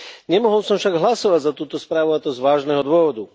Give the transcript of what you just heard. Nemohol som však hlasovať za túto správu, a to z vážneho dôvodu.